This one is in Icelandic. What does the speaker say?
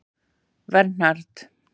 Vernharð